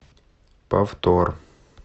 повтор